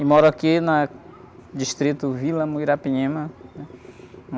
E moro aqui na... Distrito Vila Muirapinima, né?